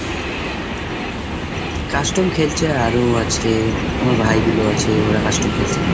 custom খেলছে আরো আজকে আমার ভাইগুলো আছে ওরা custom খেলছে।